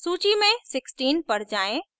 सूचि में 16 पर जाएँ